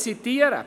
Ich zitiere: